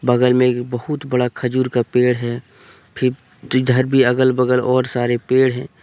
बगल में एक बहुत बड़ा खजूर का पेड़ है फिर इधर भी अगल बगल और सारे पेड़ हैं।